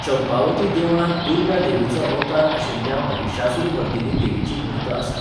चंपावती देवळांत दुर्गा देवीचो अवतार आशिल्ल्या महिशासुरमर्दिनी देवीची मूर्त आसा.